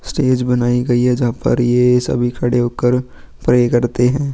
Stage बनाई गई है जहां पर ये सभी खड़े होकर प्रे करते हैं.